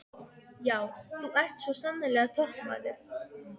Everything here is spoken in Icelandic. Já, þú ert svo sannarlega toppmaður!